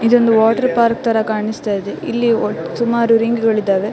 ಇದೊಂದು water park ತರ ಕಾಣಿಸ್ತಾ ಇದೆ ಇಲ್ಲಿ ಓ ಸುಮಾರು ರಿಂಗ್ ಗಳಿದ್ದಾವೆ.